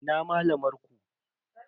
Ina malamar ku?